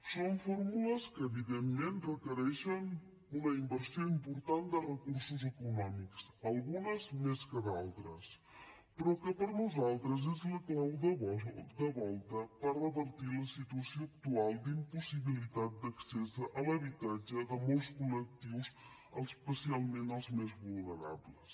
són fórmules que evidentment requereixen una inversió important de recursos econòmics algunes més que d’altres però que per nosaltres és la clau de volta per revertir la situació actual d’impossibilitat d’accés a l’habitatge de molts col·lectius especialment els més vulnerables